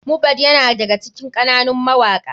Mohbad yana daga cikin ƙananun mawaka.